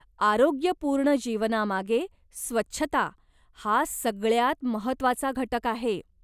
आरोग्यपूर्ण जीवनामागे स्वच्छता हा सगळ्यांत महत्त्वाचा घटक आहे.